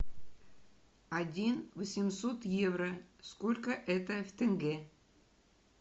один восемьсот евро сколько это в тенге